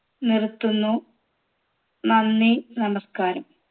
നിർത്തുന്നു നന്ദി നമസ്കാരം